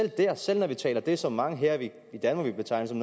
selv når vi taler om det som mange her i danmark vil betegne som